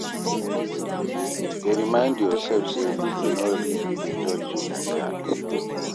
Dey remind yourself say people no really dey judge you like that